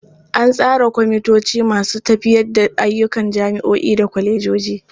An tsara kwamitoci masu tafiyar da ayyukan jami'o'i da kwalejoji.